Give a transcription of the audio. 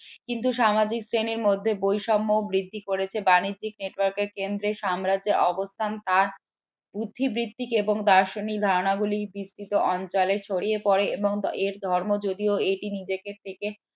কিন্তু সামাজিক শ্রেণীর মধ্যে বৈষম্য ও বৃদ্ধি করেছে বাণিজ্য network এর কেন্দ্র সাম্রাজ্যে অবস্থান তার বুদ্ধিবৃত্তিকে এবং দার্শনিক ধারণাগুলি বিস্তৃত অঞ্চলে ছড়িয়ে পড়ে এবং এর ধর্ম যদিও এটি নিজেকে